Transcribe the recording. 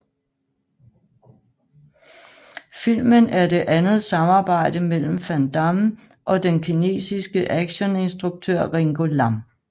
Filmen er det andet samarbejde mellem Van Damme og den kinesiske actioninstruktør Ringo Lam